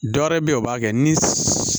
Dɔ wɛrɛ bɛ ye o b'a kɛ ni